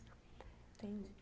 Entendi.